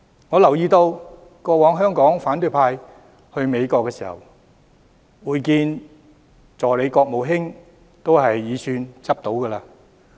我留意到過往香港的反對派到訪美國時，如能會見助理國務卿已算走運。